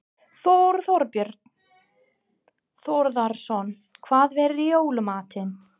Þorbjörn Þórðarson: Hvað verður í jóla matinn?